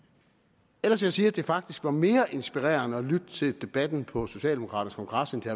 ellers vil jeg sige at det faktisk var mere inspirerende at lytte til debatten på socialdemokraternes kongres end til